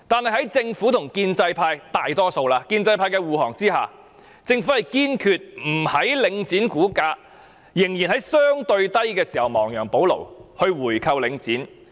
可是，政府在大多數建制派的護航下，堅決不在領展股價仍處於相對低位時亡羊補牢，回購領展。